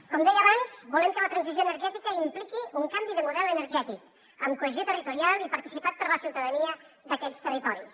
com deia abans volem que la transició energètica impliqui un canvi de model energètic amb cohesió territorial i participat per la ciutadania d’aquests territoris